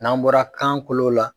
N'an bɔra kan kolo la.